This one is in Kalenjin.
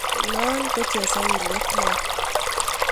no chesawiliet neya